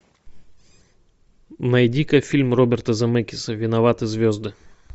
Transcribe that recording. найди ка фильм роберта земекиса виноваты звезды